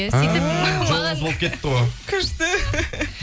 ааа жолыңыз болып кетіпті ғой күшті